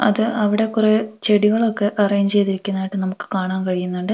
അത് അവിടെ കുറേ ചെടികളൊക്കെ അറേഞ്ച് ചെയ്തിരിക്കുന്നതായിട്ട് നമുക്ക് കാണാൻ കഴിയുന്നുണ്ട്.